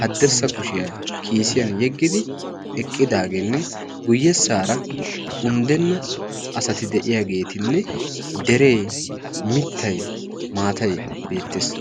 haddirssa kushiyaa kiisiyan yeggidi eqqidaageenne guyyessaara unddenna asati de'iyaageetinne deree mittai maatai beettees